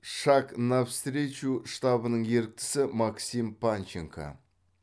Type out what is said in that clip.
шаг навстречу штабының еріктісі максим панченко